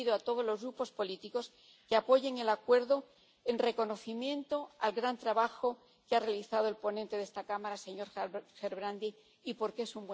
y pido a todos los Grupos políticos que apoyen el acuerdo en reconocimiento al gran trabajo que ha realizado el ponente de esta Cámara, señor Gerbrandy, y porque es